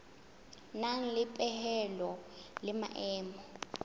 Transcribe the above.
nang le dipehelo le maemo